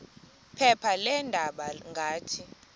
phepha leendaba ngathi